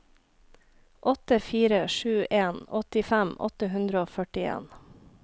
åtte fire sju en åttifem åtte hundre og førtien